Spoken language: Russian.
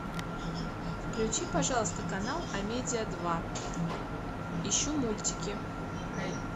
включи пожалуйста канал амедиа два ищу мультики